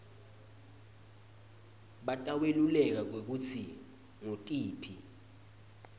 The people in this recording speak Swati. bataweluleka kwekutsi ngutiphi